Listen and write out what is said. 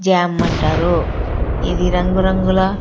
Jam అంటారు ఇది రంగు రంగుల.